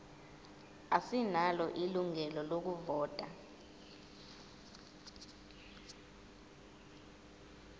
asinalo ilungelo lokuvota